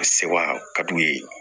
Sewa ka d'u ye